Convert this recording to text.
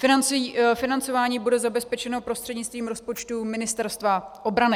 Financování bude zabezpečeno prostřednictvím rozpočtu Ministerstva obrany.